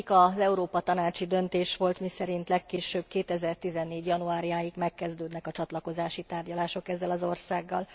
Az egyik az európa tanácsi döntés volt, miszerint legkésőbb 2014 januárjáig megkezdődnek a csatlakozási tárgyalások ezzel az országgal.